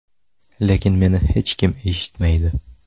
Lekin meni hech kim eshitmaydi.